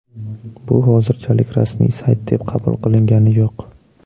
Bu hozirchalik rasmiy sayt deb qabul qilingani yo‘q.